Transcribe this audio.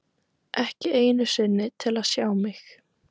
Ekki einu sinni til að sjá mig.